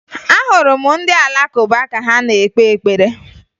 Ahụrụ m ndị Alakụba ka ha na-ekpe ekpere